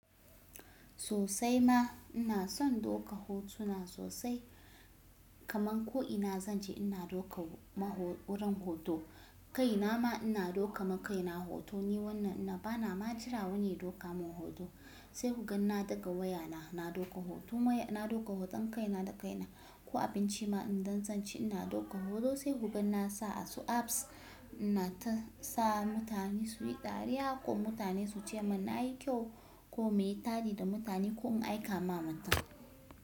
Sosai ma ina son doka hotuna sosai kaman ko ina zan ce ina doka wurin hoto, kai na ma ina doka ma kai na hoto ni wannan ina bana ma jira wani ya doka mun hoto sai kugan na ɗaga wayana na doka hoto na doka hoton kaina da kaina ko abinci ma idan zan ci ina doka hoto sai hugan nasa asu apps na ta sa mutane suyi dariya ko mutane suce mun nayi kyau ko mu yi taɗi da mutane ko mu aika ma mutum.